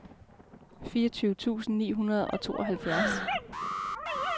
fireogtyve tusind ni hundrede og tooghalvfjerds